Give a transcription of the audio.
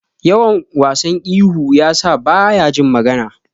Yawan wasan ihu yasa baya jin magana.